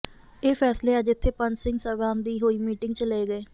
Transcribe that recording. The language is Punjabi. ਇਹ ਫੈਸਲੇ ਅੱਜ ਇਥੇ ਪੰਜ ਸਿੰਘ ਸਾਹਿਬਾਨ ਦੀ ਹੋਈ ਮੀਟਿੰਗ ਚ ਲਏ ਗਏ